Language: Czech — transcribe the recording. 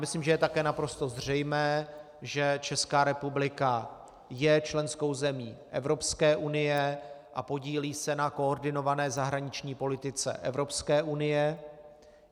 Myslím, že je také naprosto zřejmé, že Česká republika je členskou zemí Evropské unie a podílí se na koordinované zahraniční politice Evropské unie.